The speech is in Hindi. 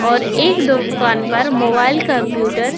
और एक दुउकान पर मोबाइल कंप्यूटर --